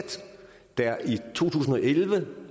der i to tusind og elleve